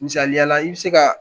Misaliya i bɛ se ka